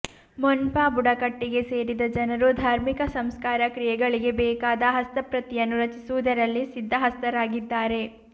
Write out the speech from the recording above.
ಮೊನ್ಪಾ ಬುಡಕಟ್ಟಿಗೆ ಸೇರಿದ ಜನರು ಧಾರ್ಮಿಕ ಸಂಸ್ಕಾರ ಕ್ರಿಯೆಗಳಿಗೆ ಬೇಕಾದ ಹಸ್ತಪ್ರತಿಯನ್ನು ರಚಿಸುವುದರಲ್ಲಿ ಸಿದ್ಧಹಸ್ತರಾಗಿದ್ದಾರೆ